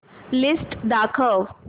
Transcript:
list दाखव